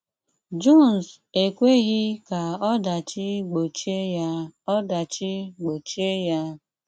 Jones ekwèghị́ ka ọdàchì gbòchìè ya. ọdàchì gbòchìè ya.